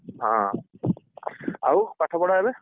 ହଁ ଆଉ ପାଠପଢା ଏବେ?